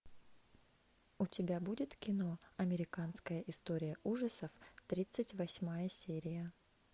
у тебя будет кино американская история ужасов тридцать восьмая серия